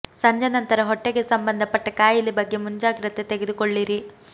ಸಂಜೆ ನಂತರ ಹೊಟ್ಟೆಗೆ ಸಂಬಂಧ ಪಟ್ಟ ಖಾಯಿಲೆ ಬಗ್ಗೆ ಮುಂಜಾಗ್ರತೆ ತೆಗೆದುಕೊಳ್ಳಿರಿ